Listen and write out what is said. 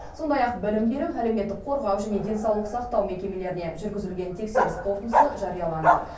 сондай ақ білім беру әлеуметтік қорғау және денсаулық сақтау мекемелеріне жүргізілген тексеріс қорытындысы жарияланды